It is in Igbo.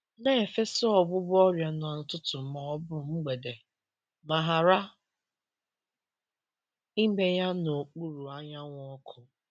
Na-efesa ọgwụgwọ ọrịa n’ụtụtụ ma ọ bụ mgbede, ma ghara ime ya n’okpuru anyanwụ ọkụ.